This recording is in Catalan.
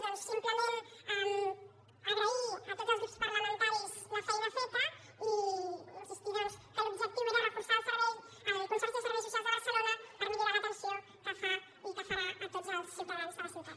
doncs simplement agrair a tots els grups parlamentaris la feina feta i insistir doncs que l’objectiu era reforçar el servei el consorci de serveis socials de barcelona per millorar l’atenció que fa i que farà a tots els ciutadans de la ciutat